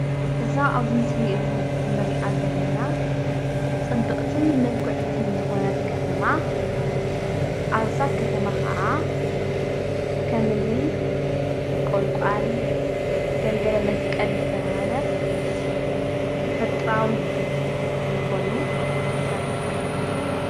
እዛ ኣብዚ ምስሊ እዙይ እንርእያ ዘለና ፅብቕትን ምልክዕትን ዝኾነት ከተማ ኣብዛ ከተማ ከዓ ከምእኒ ቆልቋል፣ ገልገል መስቀል ዝተበሃለ ተፈጥራዊ ዝኾኑ ተኽልታት ይርከብ።